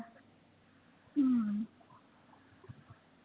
हम्म